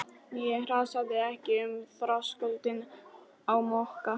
Ég hrasaði ekki um þröskuldinn á Mokka.